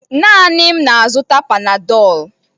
Naanị m na-azụta Panadol